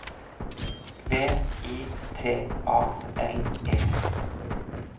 V I T A L E